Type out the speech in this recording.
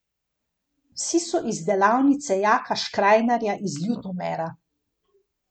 Vsi so iz delavnice Janka Škrajnarja iz Ljutomera.